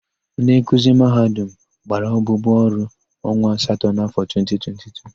Ndị nkuzi Mahadum gbara abụbụ ọrụ onwa asatọ n'afọ 2022.